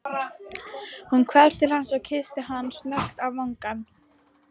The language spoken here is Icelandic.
Hún hvarf til hans og kyssti hann snöggt á vangann.